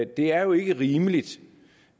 det er jo ikke rimeligt